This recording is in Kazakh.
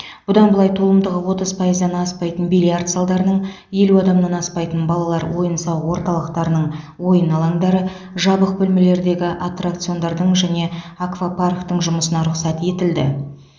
бұдан былай толымдығы отыз пайыздан аспайтын бильярд залдарының елу адамнан аспайтын балалар ойын сауық орталықтарының ойын алаңдары жабық бөлмелердегі аттракциондардың және аквапарктің жұмысына рұқсат етілді